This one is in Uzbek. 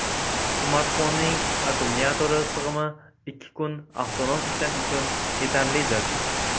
Smartfonning akkumulyatori sig‘imi ikki kun avtonom ishlash uchun yetarlidir.